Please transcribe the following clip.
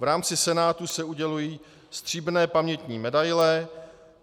V rámci Senátu se udělují stříbrné pamětní medaile.